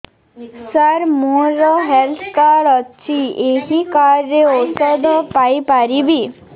ସାର ମୋର health card ଅଛି ଏହି କାର୍ଡ ରେ ଔଷଧ ପାଇପାରିବି